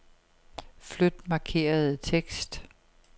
Flyt markerede tekst.